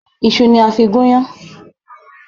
Ìṣu ni a fí gún yán.